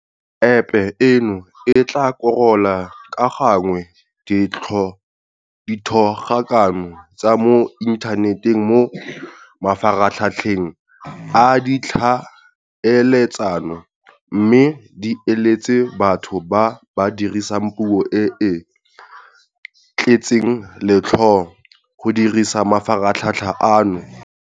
Epe eno e tla korola ka gangwe dithogakano tsa mo inthaneteng mo mafaratlhatlheng a ditlhaeletsano mme di iletse batho ba ba dirisang puo e e tletseng letlhoo go dirisa mafaratlhatlha ano.